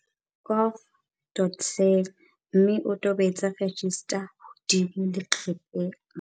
gov.za mme o tobetse 'register' hodimo leqepheng.